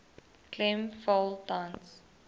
klem val tans